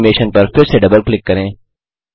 इस एनिमेशन पर फिर से डबल क्लिक करें